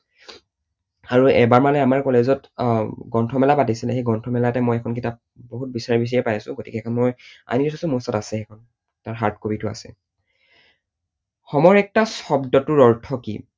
আৰু এবাৰ মানে আমাৰ college ত আহ গ্ৰন্থ মেলা পাতিছিলে, সেই গ্ৰন্থমেলাতে মই এইখন কিতাপ বহুত বিচাৰি বিচাৰিয়ে পাইছো। মই আনি থৈছো, মোৰ ওচৰত আছে সেইখন, তাৰ hard copy টো আছে। homo erectus শব্দটোৰ অৰ্থ কি?